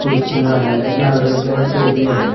कुर्सियां है लाल रंग की और टेबले हैं।